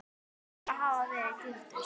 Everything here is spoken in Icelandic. verður að hafa verið gildur.